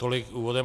Tolik úvodem.